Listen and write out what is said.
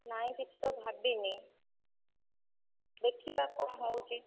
ନାଇଁ କିଛି ତ ଭାବିନି, ଦେଖିବା କଣ ହଉଛି?